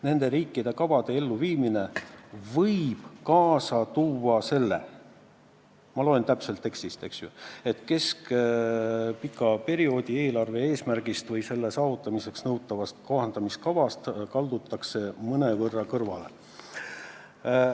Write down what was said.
Nende kavade elluviimine võib kaasa tuua selle – ma loen täpselt tekstist –, et keskpika perioodi eelarve eesmärgist või selle saavutamiseks nõutavast kohandamiskavast kaldutakse mõnevõrra kõrvale.